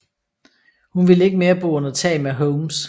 Hun ville ikke mere bo under tag med Holmes